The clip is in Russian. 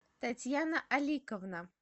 татьяна аликовна